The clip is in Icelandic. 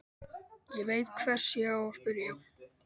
Ég veit hvers ég á að spyrja.